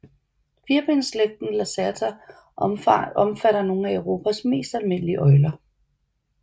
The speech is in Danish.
Firbensslægten Lacerta omfatter nogle af Europas mest almindelige øgler